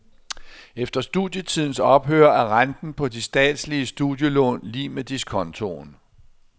Efter studietidens ophør er renten på de statslige studielån lig med diskontoen.